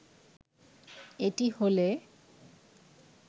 এটি হলে